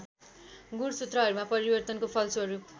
गुणसूत्रहरूमा परिवर्तनको फलस्वरूप